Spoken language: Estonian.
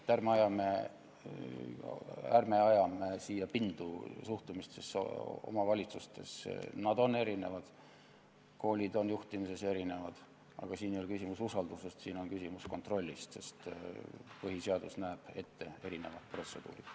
Ärme ajame pindu suhtumises omavalitsustesse, nad on erinevad, koolid on juhtimises erinevad, aga siin ei ole küsimus usalduses, siin on küsimus kontrollis, sest põhiseadus näeb ette erinevad protseduurid.